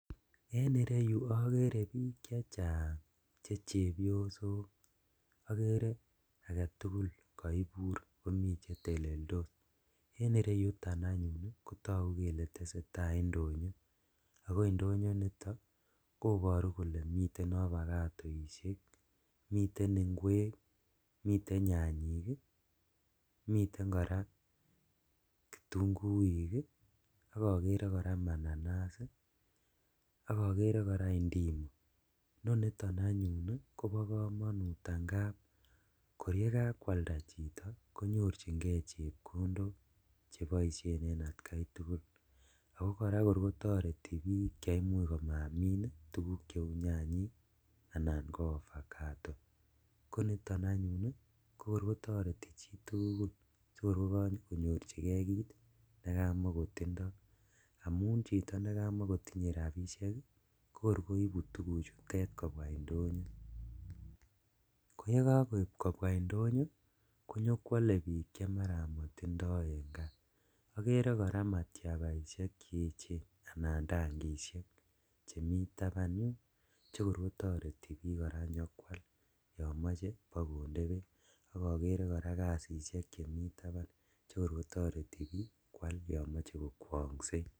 En ireyu agere biik chechang che chepyosok agere agetugul kaibur komii cheteleltos en ireyuton anyun kotoku kele tesetai indonyo ago indonyo initon ii koboru kole miten obakatoishek miten ikwek ,miten nyanyik , miten koraa kitunguik , ak agere koraa mananas ii, ak agere koraa indimu, noniton anyun Kobo komonut angab kor yekankwalda chito konyorchinkee chepkondok cheboisien en akta tugul ago koraa kor kotoreti biik che imuch komin tuguk cheu nyanyik ak avokato konit anyun ii kor kotoreti chii tugul sikor ko kakonyorchikee kiit nekakomokotindoi amun chiton ne kakomokotinye rabishek kor koibu tuguk ichutet kobwa indonyo koyengan koib kobwa indonyo ko nyikwole biik che mara motindoi en gaa agere koraa matabaishek che echen anan tankishek chemi taban yun che kor kotoreti biik koraa nyekwal yon moche bokode beek ak agere koraa kasishek koraa chemi taban che Koror kotoreti biik kwal yomoche kokwonysien.